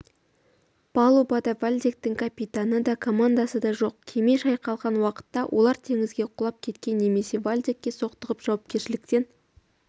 палубада вальдектің капитаны да командасы да жоқ кеме шайқалған уақытта олар теңізге құлап кеткен немесе вальдекке соқтығып жауапкершіліктен